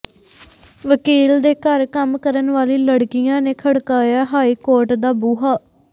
ਵਕੀਲ ਦੇ ਘਰ ਕੰਮ ਕਰਨ ਵਾਲੀ ਲੜਕੀਆਂ ਨੇ ਖੜਕਾਇਆ ਹਾਈ ਕੋਰਟ ਦਾ ਬੂਹਾ